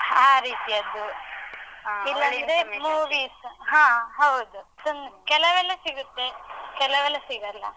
ಆ ರೀತಿಯದ್ದು, ಇಲ್ಲಂದ್ರೆ movie's ಹಾ, ಹೌದು. ತುಂ~ ಕೆಲವೆಲ್ಲ ಸಿಗುತ್ತೆ. ಕೆಲವೆಲ್ಲ ಸಿಗಲ್ಲ.